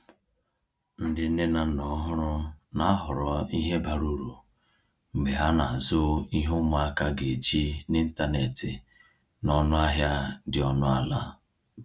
Ndị nne na nna ọhụrụ na-ahọrọ ihe bara uru mgbe ha na-azụ ihe ụmụaka ga-eji n’ịntanetị n’ọnụ ahịa dị ọnụ ala.